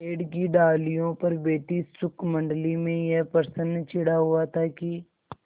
पेड़ की डालियों पर बैठी शुकमंडली में यह प्रश्न छिड़ा हुआ था कि